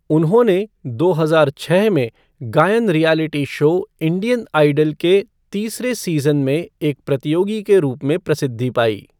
उन्होंने दो हजार छः में गायन रियैलिटी शो 'इंडियन आइडल' के तीसरे सीज़न में एक प्रतियोगी के रूप में प्रसिद्धि पाई।